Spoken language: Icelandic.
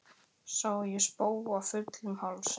Sá ég spóa fullum hálsi.